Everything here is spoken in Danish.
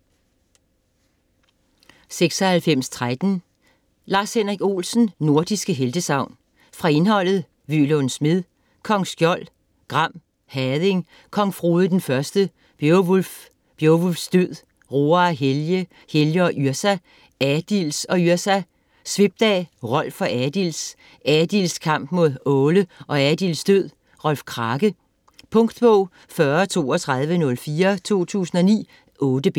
96.13 Olsen, Lars-Henrik: Nordiske heltesagn Fra indholdet: Vølund Smed; Kong Skjold; Gram; Hading; Kong Frode den første; Bjovulf; Bjovulfs død; Roar og Helge; Helge og Yrsa; Adils og Yrsa; Svipdag; Rolf og Adils; Adils kamp mod Åle og Adils død; Rolf Krake. Punktbog 403204 2009. 8 bind.